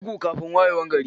Bugu kafin wayewar gari.